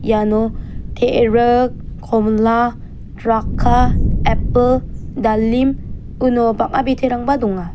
iano te·rik komila draka epil dalim uno bang·a biterangba donga.